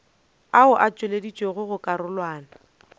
ao a tšweleditšwego go karolwana